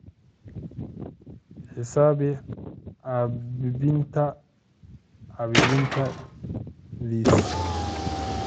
xisaabi caabbinta caabbinta this